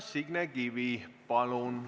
Signe Kivi, palun!